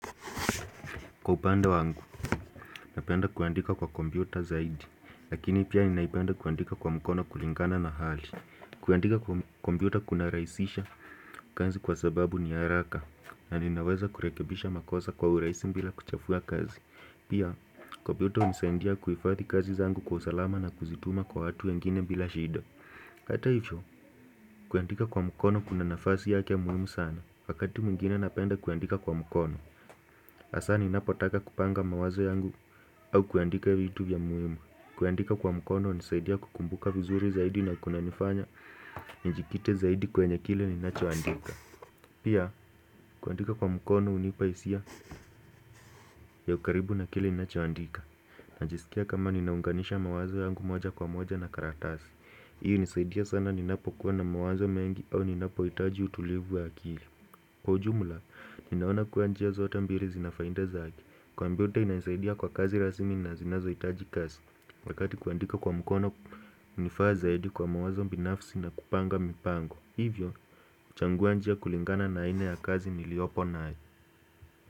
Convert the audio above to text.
Kwa upande wangu, napenda kuandika kwa kompyuta zaidi, lakini pia ninaipenda kuandika kwa mkono kulingana na hali. Kuandika kwa kompyuta kunarahisisha kazi kwa sababu ni haraka, na ninaweza kurekebisha makosa kwa urahisi bila kuchafua kazi. Pia, kwa kompyuta hunisandia kuhifathi kazi zangu kwa usalama na kuzituma kwa watu wengine bila shida. Kata hivyo, kuandika kwa mkono kuna nafasi yake muhimu sana, wakati mwingine napenda kuandika kwa mkono. Hasa ninapotaka kupanga mawazo yangu au kuandika vitu vya muhimu kuandika kwa mkono hunisaidia kukumbuka vizuri zaidi na kunanifanya Nijikite zaidi kwenye kile ninachoandika Pia kuandika kwa mkono hunipa hisia ya ukaribu na kile ninachoandika Najisikia kama ninaunganisha mawazo yangu moja kwa moja na karatasi hii hunisaidia sana ninapokuwa na mawazo mengi au ninapoitaji utulivu ya akili Kwa ujumla, ninaona kua njia zote mbili zinafainda zake kompyuta inaisaidia kwa kazi rasmi na zinazo hitaji kazi Wakati kuandika kwa mkono hunifaa zaidi kwa mawazo binafsi na kupanga mipango Hivyo, huchangua njia kulingana na aina ya kazi niliopo nayo.